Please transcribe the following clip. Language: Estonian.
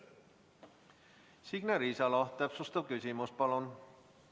Signe Riisalo, täpsustav küsimus, palun!